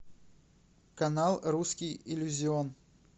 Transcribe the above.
канал русский иллюзион